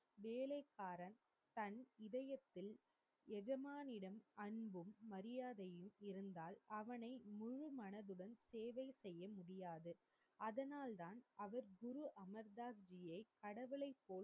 வேளைகாரன் தன் இதயத்தில் எஜமானிடம் அன்பும் மரியாதையும் இருந்தால் அவனை முழுமனதுடன் சேவை செய்ய முடியாது அதனால்தான் அவர் குரு அமர்தாஜி கடவுளை போல்